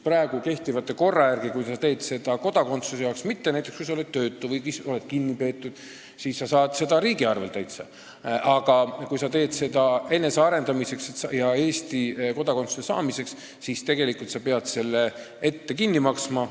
Praegu kehtiva korra järgi on nii, et kui sa oled näiteks töötu või kinnipeetu, siis sa saad seda õpet täitsa riigi arvel, aga kui sa õpid keelt enesearendamiseks ja Eesti kodakondsuse saamiseks, siis sa pead selle tegelikult ette kinni maksma.